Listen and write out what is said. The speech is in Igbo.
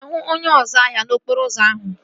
Aga m ahụ onye ọzu ahịa n'okporo ụzọ ahụ?